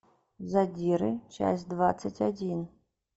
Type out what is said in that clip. задиры часть двадцать один